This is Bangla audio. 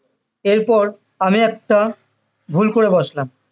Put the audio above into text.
এরপর আমি একটা ভুল করে বসলাম বসলাম